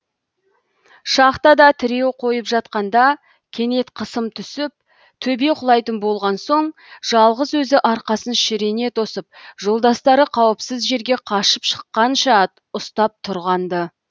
шахтада тіреу қойып жатқанда кенет қысым түсіп төбе құлайтын болған соң жалғыз өзі арқасын шірене тосып жолдастары қауіпсіз жерге қашып шыққанша ұстап тұрған ды